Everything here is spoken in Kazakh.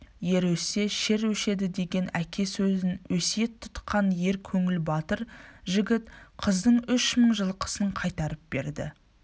ер өссе шер өшедідеген әке сөзін өсиет тұтқан ер көңіл батыр жігіт қыздың үш мың жылқысын қайтарып берді